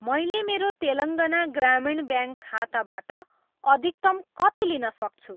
मैले मेरो तेलङ्गाना ग्रामीण ब्याङ्क खाताबाट अधिकतम कति लिन सक्छु?